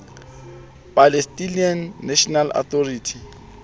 palestinian national authority